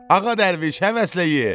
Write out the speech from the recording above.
Ağa dərviş, həvəslə ye!